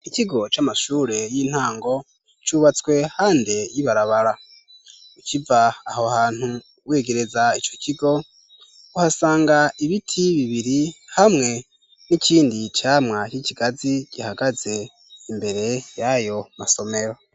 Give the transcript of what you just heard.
Ikigo c'amashure y'intango cubatswe hande y'ibarabara ukiva aho hantu wegereza ico kigo uhasanga ibiti bibiri hamwe n'ikindi cyamwa c'ikigazi gihagaze imbere y'ayo masomero.